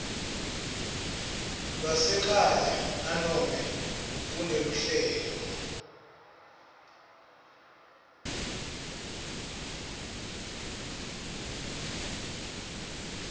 lwasekhaya nanobe kuneluhlelo